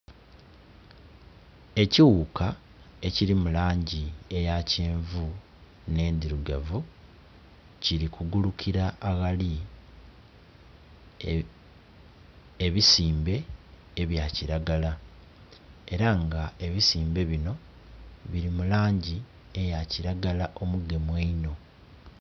Ekighuka ekiri mulangi eyakyenvu ne ndhirugavu kili kugulukira aghali ebisimbe ebya kilagala era nga ebisimbe binho bili mu langi eya kilagala omugemu einho